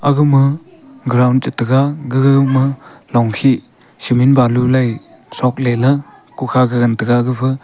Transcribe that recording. aga ma ground chan taga gaga longkhe semi balu lai son la ku kha gan taiga.